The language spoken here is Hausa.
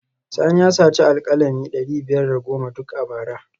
Sani ya saci alkalami dari biyar da goma duk a bara